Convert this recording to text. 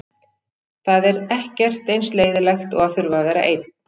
Það er ekkert eins leiðinlegt og að þurfa að vera einn.